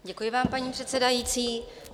Děkuji vám, paní předsedající.